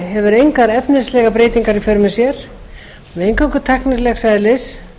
hefur engar efnislegar breytingar í för með sér og eru eingöngu tæknilegs eðlis